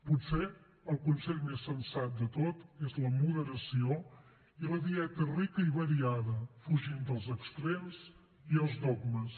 potser el consell més sensat de tots és la moderació i la dieta rica i variada fugint dels extrems i els dogmes